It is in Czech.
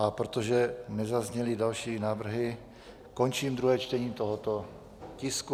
A protože nezazněly další návrhy, končím druhé čtení tohoto tisku.